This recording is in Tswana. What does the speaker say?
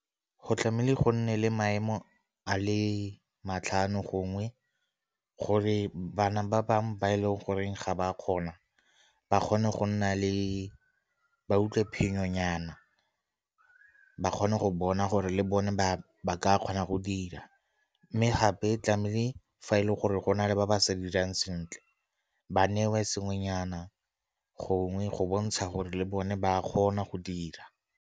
Go tlamehile go nne le maemo a le matlhano gongwe gore bana ba bangwe ba e leng goreng ga ba kgona ba kgone go nna le, ba utlwe phenyo nyana. Ba kgone go bona gore le bone ba ka kgona go dira, mme gape tlamehile fa e leng gore go na le ba ba sa dirang sentle ba newe sengwenyana gongwe go bontsha gore le bone ba kgona go dira.